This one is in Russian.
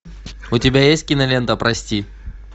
у тебя есть кинолента прости